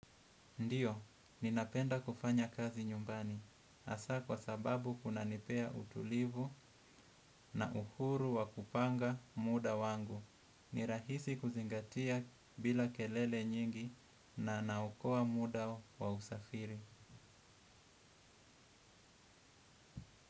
Ndiyo, ninapenda kufanya kazi nyumbani. Hasa kwa sababu kunanipea utulivu na uhuru wa kupanga muda wangu. Ni rahisi kuzingatia bila kelele nyingi na na naokoa muda wa usafiri.